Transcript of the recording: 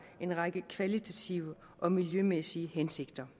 en række kvalitative og miljømæssige hensigter